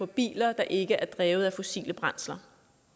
biler der ikke er drevet af fossile brændsler